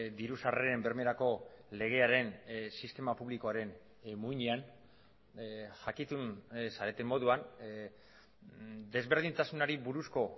diru sarreren bermerako legearen sistema publikoaren muinean jakitun zareten moduan desberdintasunari buruzko